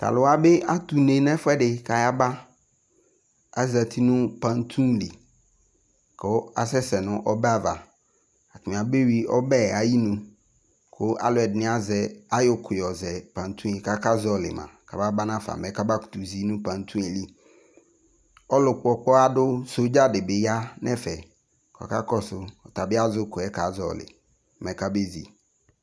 to alò wa bi ato une n'ɛfu ɛdi k'aya ba azati no pantu li kò asɛ sɛ no ɔbɛ ava atani abe wi ɔbɛ ayi nu kò alò ɛdini azɛ ayɔ ukò yɔ zɛ pantu yɛ k'aka zɔli ma kaba ba nafa mɛ kaba kutò zi no pantu yɛ li ɔlò kpɔ ɔkpɔɣa do sɔdza di bi ya no ɛfɛ ɔka kɔsu ɔtabi azɛ ukò yɛ ka zɔli mɛ kabe zi